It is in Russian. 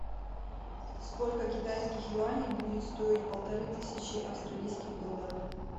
сколько китайских юаней будет стоить полторы тысячи австралийских долларов